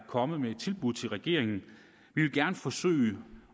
kommet med et tilbud til regeringen vi vil gerne forsøge